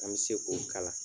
An be se k'o kala.